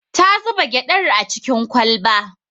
Ta zuba gyaɗar a cikin kwalba